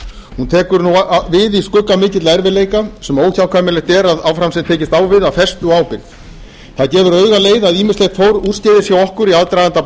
hún tekur nú við í skugga mikilla erfiðleika sem óhjákvæmilegt er að áfram sé tekist á við af festu og ábyrgð það gefur auga leið að ýmislegt fór úrskeiðis hjá okkur í aðdraganda